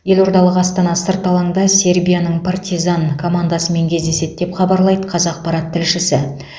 елордалық астана сырт алаңда сербияның партизан командасымен кездеседі деп хабарлайды қазақпарат тілшісі